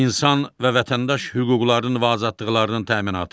İnsan və vətəndaş hüquqlarının və azadlıqlarının təminatı.